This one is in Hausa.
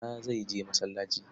Bala zai je masallaci.